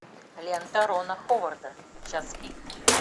лента рона ховарда час пик